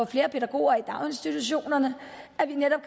flere pædagoger i daginstitutionerne at vi netop